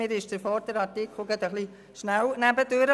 Mir ist der Artikel davor etwas zu schnell nebenher beraten worden.